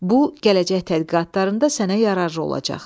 Bu gələcək tədqiqatlarında sənə yararlı olacaq.